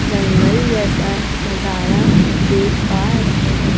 जंगल जैसा नजारा देख पा रहे हैं।